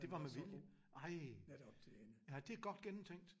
Det var med vilje? Ej! Ja det er godt gennemtænkt